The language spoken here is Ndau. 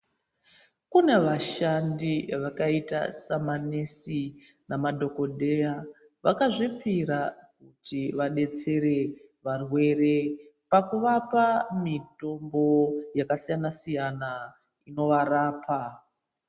Kune vashandi vakaita semanesi madhokodheya vakazvipira kuti vabetsere varwere pakuvapa mitombo yakasiyanasiyana nekuvarapa .